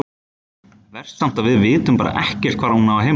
Verst samt að við vitum bara ekkert hvar hún á heima.